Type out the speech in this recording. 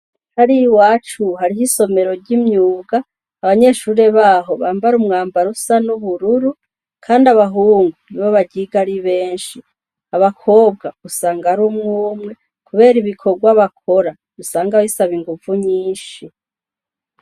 Hari i wacu hariho isomero ry'imyuga abanyeshure baho bambara umwambaro usa no hururu, kandi abahungu ni bo abagiga ari benshi abakobwa gusanga ari umwumwe, kubera ibikorwa bakora usanga abisaba inguvu nyinshi.